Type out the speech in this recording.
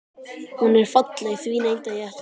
Hún er falleg, því neita ég ekki.